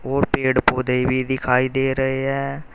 और पेड़ पौधे भी दिखाई दे रहे हैं।